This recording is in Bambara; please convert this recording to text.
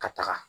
Ka taga